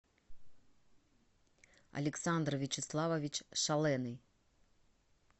александр вячеславович шаленый